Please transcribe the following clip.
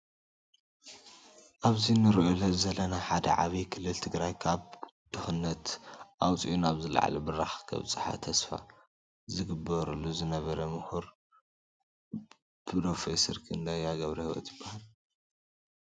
ኣብዚ እነሪኦ ዘለና ሓደ ዓብይ ክልል ትግራይ ካብ ድክነት ኣውፂኡ ናብ ዝለዓለ ብራከ ከብፃሓ ተስፋ ዝግበረሉ ዝነበረ ሙሁር ብሮፌሰር ክንደያ ገብሪሂወት ይበሃል።